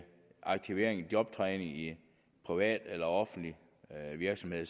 aktivering eller jobtræning i en privat eller offentlig virksomhed